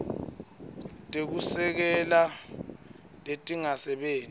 tekusekela letingasebenti kahle